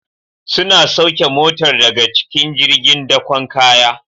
Suna sauke Motar daga cikin jirgin dakon kaya